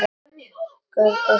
Kulvísu trén dóu út.